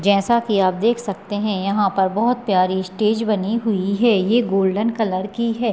जैसा की आप देख सकते हैं यहाँ पर बहुत प्यारी स्टेज बनी हुई है ये गोल्डन कलर की है।